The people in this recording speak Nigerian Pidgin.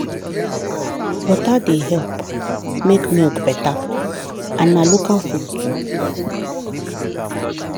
water dey help make milk better and na local food too.